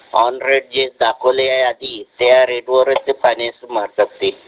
on rate जे दाखवले आहे आधी त्या रेट वर फायनान्स मारतात ते